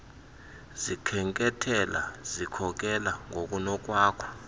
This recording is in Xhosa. zikhenkethela uzikhokela ngokunokwakho